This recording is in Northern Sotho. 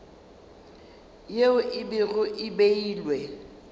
yeo e bego e beilwe